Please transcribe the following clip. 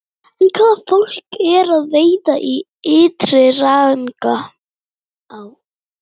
En hvaða fólk er að veiða í Ytri-Rangá?